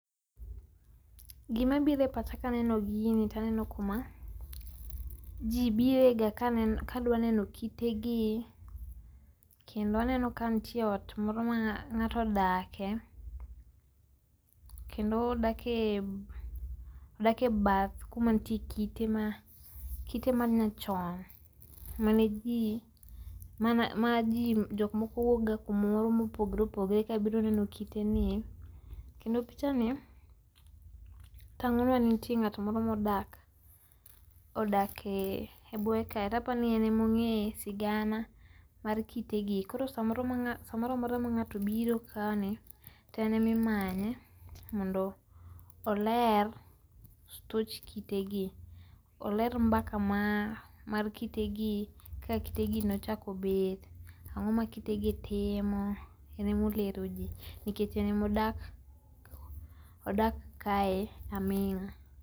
Gima biro e pacha kaneno gini taneno kuma jii birega kanen, kadwa neno kitegi kendo aneno ka nitie ot moro ma ng’ato odake, kendo odake ,kendo odak e bath kuma nitie kite ma, kite ma nyachon mane jii ,majii jok moko wuokga kumoro ma oopogore opogore kabiro neno kitenie. Kendo pichani tangonwa ng’at moro modak modak odak e buoye kae to aparo ni en ema ongeyo sigana mar kitegi, koro samoro ma ng’at, samoro amora ma ngato biro kae to en ema imanye oler stoch kitegi, oler mbaka mar kitegi kaka kitegi nochako bet, angoma kitegi timo, en molero jii nikech en modak ,odak kae aminga